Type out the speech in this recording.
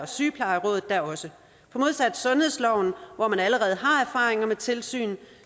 sygeplejeråd da også for modsat sundhedsloven hvor man allerede har erfaringer med tilsyn